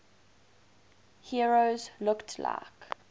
heroes looked like